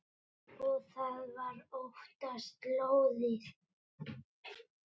Og það var oftast lóðið.